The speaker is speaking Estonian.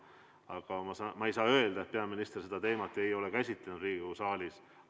Aga ma ei saa öelda, et peaminister ei ole seda teemat Riigikogu saalis käsitlenud.